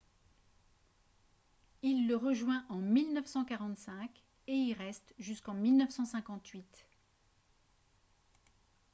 il le rejoint en 1945 et y reste jusqu'en 1958